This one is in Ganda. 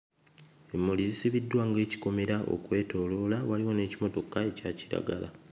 Emmuli zisibiddwa ng'ekikomera okwetooloola waliwo n'ekimotoka ekya kiragala.